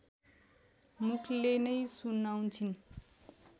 मुखले नै सुनाउँछिन्